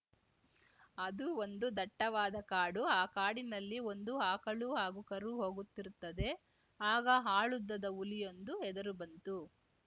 ಅದು ಒಂದು ದಟ್ಟವಾದ ಕಾಡು ಆ ಕಾಡಿನಲ್ಲಿ ಒಂದು ಆಕಳು ಹಾಗೂ ಕರು ಹೋಗುತ್ತಿರುತ್ತದೆ ಆಗ ಆಳುದ್ದದ ಹುಲಿಯೊಂದು ಎದುರು ಬಂತು